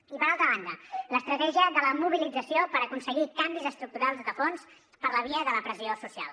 i per altra banda l’estratègia de la mobilització per aconseguir canvis estructurals de fons per la via de la pressió social